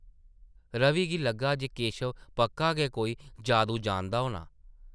रवि गी लग्गा जे केशव पक्क गै कोई जादू जानदा होना ।